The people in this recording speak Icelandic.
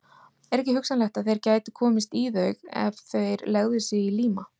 Er ekki hugsanlegt, að þeir gætu komist í þau, ef þeir legðu sig í líma?